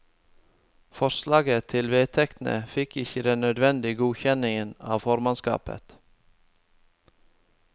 Forslaget til vedtekter fikk ikke den nødvendige godkjenning av formannskapet.